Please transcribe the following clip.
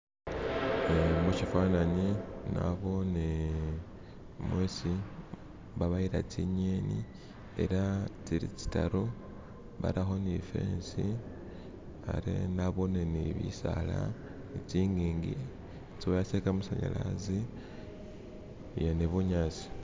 mushifananyi nabone mwesi babayila tsinyeni ela tsili tsitaru baraho nifensi abe nabone nibisaala tsingingi tsiwaya tsekamasanyalazi ee nibunyasi